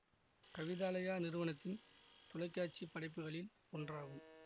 கவிதாலயா நிறுவனத்தின் தொலைக்காட்சிப் படைப்புகளில் ஒன்றாகும்